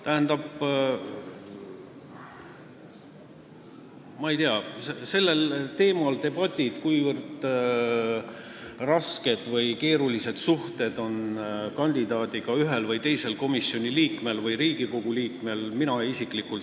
Tähendab, mina isiklikult lõpetaks siin ära debati sellel teemal, kuivõrd rasked või keerulised suhted kandidaadiga on ühel või teisel komisjoni või Riigikogu liikmel.